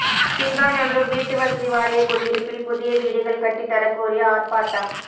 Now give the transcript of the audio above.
சிங்காநல்லூா் வீட்டு வசதி வாரியக் குடியிருப்பில் புதிய வீடுகள் கட்டித் தரக் கோரி ஆா்ப்பாட்டம்